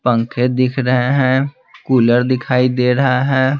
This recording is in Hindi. पंखे दिख रहे हैं कूलर दिखाई दे रहा है।